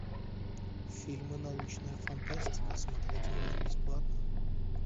фильмы научная фантастика смотреть онлайн бесплатно